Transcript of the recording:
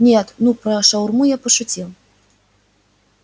нет ну про шаурму я шутил